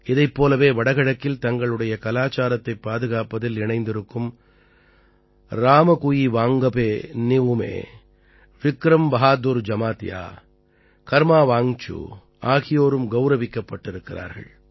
இதைப் போலவே வட கிழக்கில் தங்களுடைய கலாச்சாரத்தைப் பாதுகாப்பதில் இணைந்திருக்கும் ராமகுயிவாங்கபே நிஉமே விக்ரம் பஹாதுர் ஜமாதியா கர்மா வாங்சூ ஆகியோரும் கௌரவிக்கப்பட்டிருக்கிறார்கள்